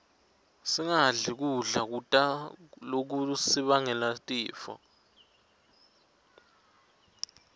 singadli kudla lokutasibangela tifo